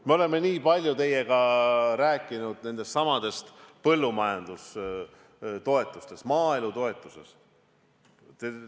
Me oleme nii palju teiega rääkinud nendestsamadest põllumajandustoetustest, maaelutoetustest.